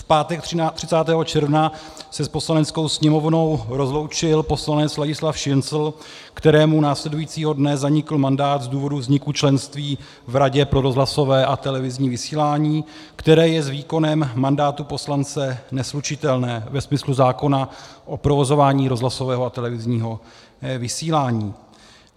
V pátek 30. června se s Poslaneckou sněmovnou rozloučil poslanec Ladislav Šincl, kterému následujícího dne zanikl mandát z důvodu vzniku členství v Radě pro rozhlasové a televizní vysílání, které je s výkonem mandátu poslance neslučitelné ve smyslu zákona o provozování rozhlasového a televizního vysílání.